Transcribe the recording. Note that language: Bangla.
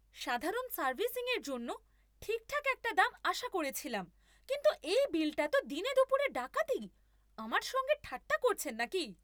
সাধারণ সার্ভিসিংয়ের জন্য ঠিকঠাক একটা দাম আশা করেছিলাম, কিন্তু এই বিলটা তো দিনেদুপুরে ডাকাতি! আমার সঙ্গে ঠাট্টা করছেন নাকি?